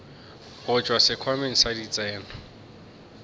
go tšwa sekhwameng sa ditseno